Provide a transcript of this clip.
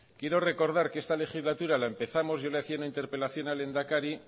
quiero recordar que esta legislatura la empezamos yo le hacía una interpelación al lehendakari